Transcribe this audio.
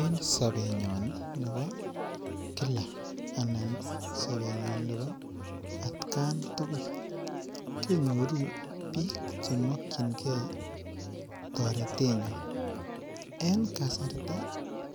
Eng' sobenyon nebo kila anan sobenyon nebo atkan tugul kenyoru biik chemokchingei toretenyon eng' kasarta